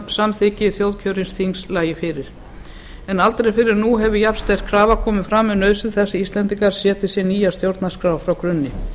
samþykki þjóðkjörins þings lægi fyrir aldrei fyrr hefur jafnsterk krafa komið fram um nauðsyn þess að íslendingar setji sér nýja stjórnarskrá frá grunni